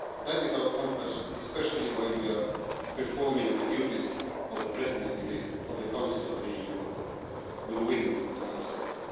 that is our compass, especially while we are performing the duties of the Presidency of the Council of the EU, with the wind in our sails.